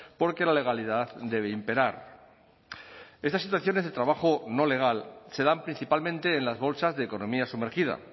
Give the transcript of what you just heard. porque la legalidad debe imperar estas situaciones de trabajo no legal se dan principalmente en las bolsas de economía sumergida